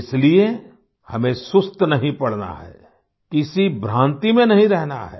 इसलिए हमें सुस्त नहीं पड़ना है किसी भ्रांति में नहीं रहना है